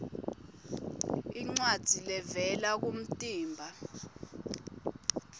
incwadzi levela kumtimba